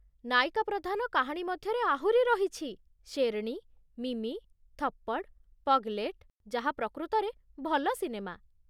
ନାୟିକା ପ୍ରଧାନ କାହାଣୀ ମଧ୍ୟରେ ଆହୁରି ରହିଛି 'ଶେର୍ଣୀ', 'ମିମି', 'ଥପ୍ପଡ଼', 'ପଗ୍ଲୈଟ୍' ଯାହା ପ୍ରକୃତରେ ଭଲ ସିନେମା।